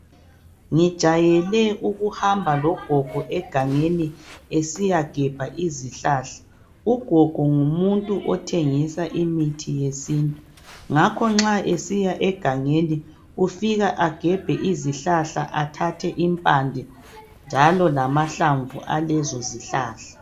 Ngijayele ukuhamba logogo egangeni esiyagebha izihlahla ugogo ngumuntu othengisa imithi yesintu ngakho nxa esiya egangeni ufika agebhe izihlahla athathe impande njalo lamahlamvu alezo zihlahla.